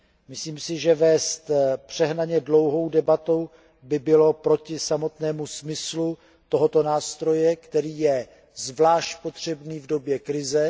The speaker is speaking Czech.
Myslím si, že vést přehnaně dlouhou debatu by bylo proti samotnému smyslu tohoto nástroje, který je zvlášť potřebný v době krize.